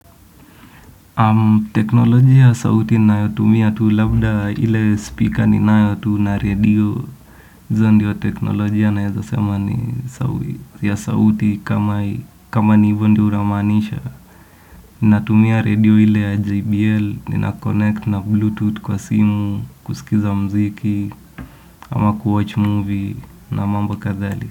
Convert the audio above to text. Teknolojia ya sauti nayo utumia tu labda ile speaker ninayo tu na radio izo ndio teknolojia naezasema ni ya sauti kama ni ivo ndo unamanisha. Natumia radio ile ya JBL, ninakonnect na bluetooth kwa simu, kusikiza mziki ama kuwatch movie na mambo kathali.